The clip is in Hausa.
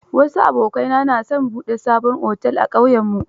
Wasu abokaina na son buɗe sabon otel a ƙauyenmu